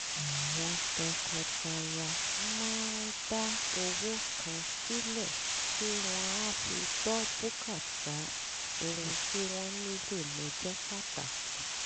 àwọn tọkọtaya máa ń dá owó kan sílẹ̀ tí wọ́n á fi gbọ́ bùkátà ohun tí wọ́n nílò lọ́jọ́ pàtàkì